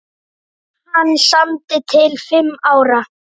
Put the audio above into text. Hann samdi til fimm ára.